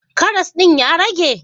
Karas din ya rage?